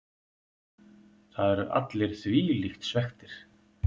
Það eru allir þvílíkt svekktir.